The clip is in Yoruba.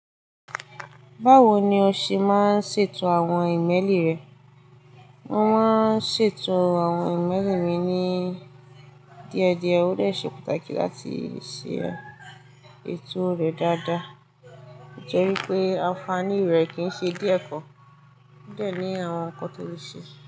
Báwo ni o ṣe máa ń ṣètò àwọn ìmẹ́lì rẹ? Mo máa ń ṣètò àwọn ìmẹ́lì mi ní díẹ̀díẹ̀. Ó de ṣe pàtàkì láti ṣe ètò rẹ dáadáa. Ó jẹ́ wípé àǹfààní rẹ̀ kì n ṣe díẹ̀ gan. Ó de ní àwọn nǹkan tó le ṣe.